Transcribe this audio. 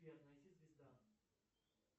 сбер найти звезда